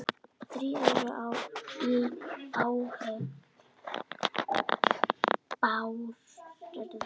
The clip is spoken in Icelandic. Þrír eru í áhöfn Bárðar.